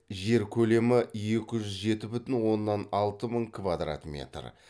жері көлемі екі жүз жеті бүтін оннан алты мың квадрат метр